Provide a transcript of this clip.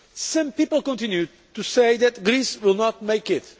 Some people continue to say that Greece will not make it.